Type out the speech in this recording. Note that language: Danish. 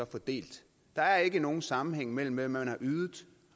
fordelt der er ikke nogen sammenhæng mellem hvad man har ydet